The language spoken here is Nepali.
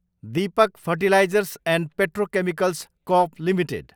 Deepak fertilisers and petrochemicals corp limited